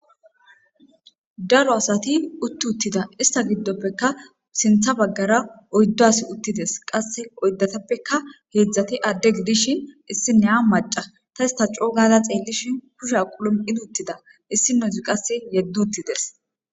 Daro asati utti uttida ista giddoppeka sintha baggara oyddo asi uttides qasse oyddatappeka heedzdzati adde gidishin issine a maca ta ista coo gada xeellishin kusha qulom7in uttida issi nozi qasse yeddottides.